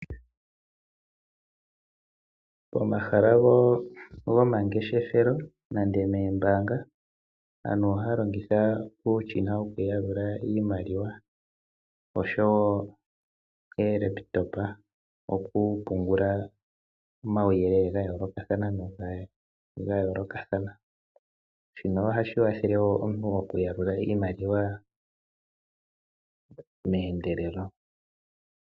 Pomahala gomangeshelo nenge moombaanga, aantu ohaya longitha uushina wokuyalula iimaliwa osho wo oolekitopa okupungula omauyelele ga yoolokathana. Shino ohashi kwathela omuntu okuyalula iimaliwa meendelelo.